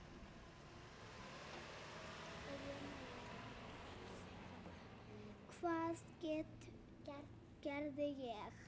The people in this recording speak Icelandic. Hvað gerði ég?